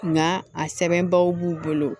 Nga a sɛbɛnbaw b'u bolo